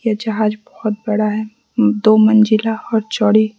ये जहाज बहोत बड़ा है दो मंजिला और चौड़ी--